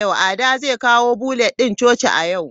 Ada zai kawo bulletin coci a yau.